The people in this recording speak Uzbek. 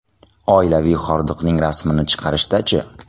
Oilaviy hordiqning rasmini chiqarishda-chi?